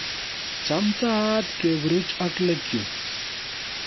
Chamtaat keburuch ak legumes